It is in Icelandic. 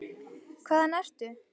Hvaðan ertu?